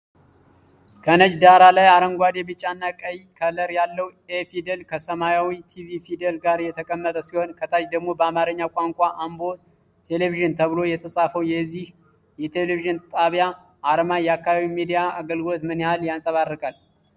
ከነጭ ዳራ ላይ አረንጓዴ፣ ቢጫና ቀይ ከለር ያለው 'A' ፊደል ከሰማያዊ 'TV' ፊደል ጋር የተቀመጠ ሲሆን፣ ከታች ደግሞ በአማርኛ ቋንቋ "አምቦ ቴሌቪዥን" ተብሎ የተጻፈው፣ የዚህ ቴሌቪዥን ጣቢያ አርማ የአካባቢውን ሚዲያ አገልግሎት ምን ያህል ያንፀባርቃል?